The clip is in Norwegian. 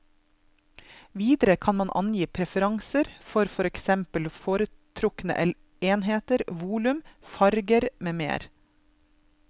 Videre kan man angi preferanser for for eksempel foretrukne enheter, volum, farger med mer.